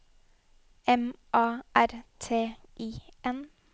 M A R T I N